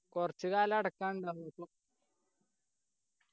കുറച്ച്‌ കാലം അടക്കാനിണ്ടാർന്ന് ഇപ്പം